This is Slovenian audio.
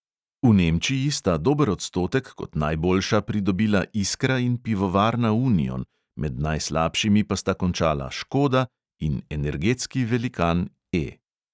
V nemčiji sta dober odstotek kot najboljša pridobila iskra in pivovarna union, med najslabšimi pa sta končala škoda in energetski velikan E.